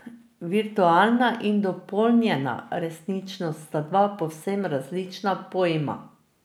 Virtualna in dopolnjena resničnost sta dva povsem različna pojma.